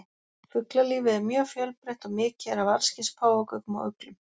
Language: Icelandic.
Fuglalífið er mjög fjölbreytt og mikið er af allskyns páfagaukum og uglum.